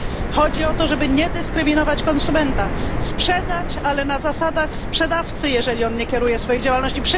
Chodzi o to, żeby nie dyskryminować konsumenta. Sprzedać, ale na zasadach sprzedawcy, jeżeli on nie kieruje swojej działalności.